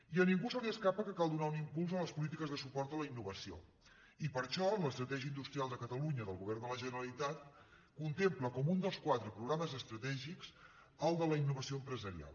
i a ningú se li escapa que cal donar un impuls a les polí·tiques de suport a la innovació i per això l’estratègia industrial de catalunya del govern de la generalitat contempla com un dels quatre programes estratègics el de la innovació empresarial